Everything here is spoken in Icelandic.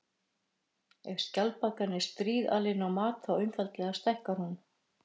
Ef skjaldbaka er stríðalin á mat þá einfaldlega stækkar hún.